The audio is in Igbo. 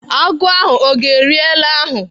Agụ ahụ ọ ga-eri ele ahụ?